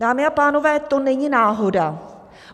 Dámy a pánové, to není náhoda!